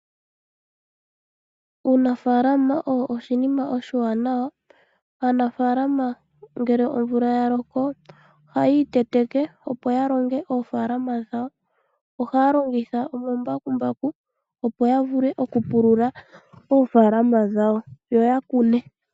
Uunafaalama owo oshinima oshiwanawa. Aanafaalama ngele omvula yalooko ohayi iiteteke opo yalonge oofaalama dhawo, ohaya longitha omambakumbaku opo yavule okupulula oofaalama dhawo yo yakune.